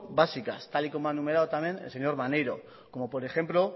básicas tal y como ha enumerado también el señor maneiro como por ejemplo